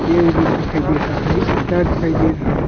Cable दिखाई दे रहा है एक तार दिखाई दे रहा है।